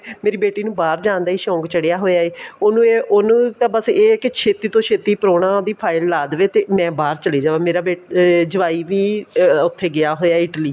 ਮੇਰੀ ਬੇਟੀ ਨੂੰ ਬਾਹਰ ਜਾਣ ਦਾ ਹੀ ਸ਼ੋਂਕ ਚੜਿਆ ਹੋਇਆ ਏ ਉਹਨੂੰ ਏ ਉਹਨੂੰ ਤਾਂ ਬੱਸ ਇਹ ਹੈ ਕੀ ਛੇਤੀਂ ਤੋ ਛੇਤੀਂ ਪਰੁਣਾ ਉਹਦੀ file ਲਾ ਦੇਵੇ ਮੈਂ ਬਹਾਰ ਚੱਲੀ ਜਾਵਾ ਮੇਰਾ ਏ ਜਵਾਈ ਵੀ ਅਹ ਉੱਥੇ ਗਿਆ ਹੋਇਆ ਹੈ Italy